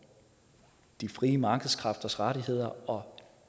de frie markedskræfters rettigheder og